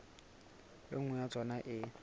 e nngwe ya tsona e